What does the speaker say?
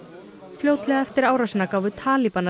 fljótlega eftir árásina gáfu